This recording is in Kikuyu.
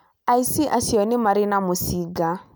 Aici acio marĩ na mũcinga